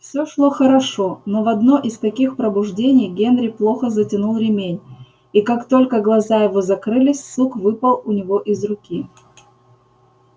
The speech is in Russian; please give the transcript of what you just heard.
все шло хорошо но в одно из таких пробуждений генри плохо затянул ремень и как только глаза его закрылись сук выпал у него из руки